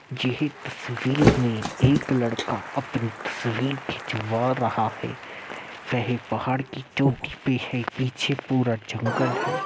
यह तस्वीर में एक लड़का अपनी तस्वीर खिंचवा रहा है। वह पहाड़ की चोटी पर है। पीछे पूरा जंगल है।